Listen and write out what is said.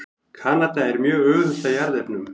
Kanada er mjög auðugt af jarðefnum.